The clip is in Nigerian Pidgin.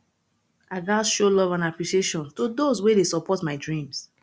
i gats show love and appreciation to those wey dey support my dreams